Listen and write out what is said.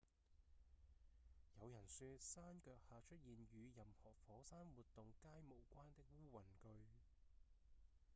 有人說山腳下出現與任何火山活動皆無關的烏雲據